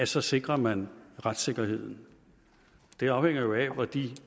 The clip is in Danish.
så sikrer man retssikkerheden det afhænger jo af